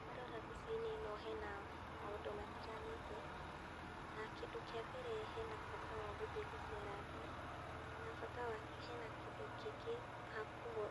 Ndarora mbica-ini ĩno hena maũndũ matiganĩte, na kĩndũ kĩambere, hena bata wa gũthiĩ gũceranga, na bata wa, hena kĩndũ kĩngĩ hakuho,